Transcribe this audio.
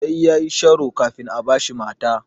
Sai yayi sharo kafin a bashi mata.